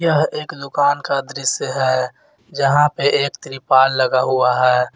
यह एक दुकान का दृश्य है जहां पे एक त्रिपाल लगा हुआ।